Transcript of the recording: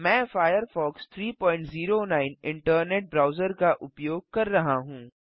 मैं Firefox 309 internet browser का उपयोग कर रहा हूँ